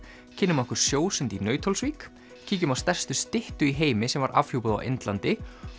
kynnum okkur sjósund í Nauthólsvík kíkjum á stærstu styttu í heimi sem var afhjúpuð á Indlandi